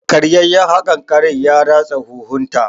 Karyayyaen haƙarƙarin ya ratsa huhun ta.